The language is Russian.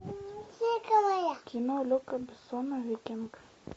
кино люка бессона викинг